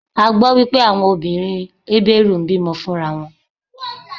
A gbó wípé àwọn obìnrin Hébérù ń bí mọ fún ra wọn.